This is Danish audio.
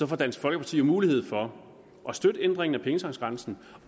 får dansk folkeparti jo mulighed for at støtte ændringen af pengetanksgrænsen